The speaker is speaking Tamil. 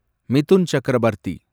மிதுன் சக்கரபர்த்தி